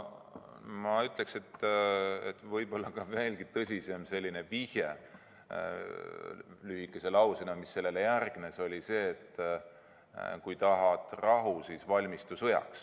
Ma ütleksin, et võib-olla veelgi tõsisem vihje sellise lühikese lausena oli see, mis järgnes: kui tahad rahu, siis valmistu sõjaks.